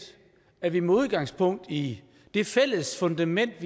at vi med udgangspunkt i det fælles fundament